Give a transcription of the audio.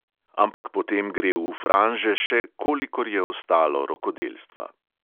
Ampak potem gre v franže še, kolikor je ostalo rokodelstva.